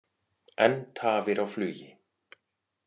Enn tafir á flugi